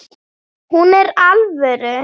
Hún er alvöru.